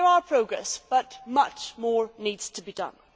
So there has been progress, but much more needs to be done.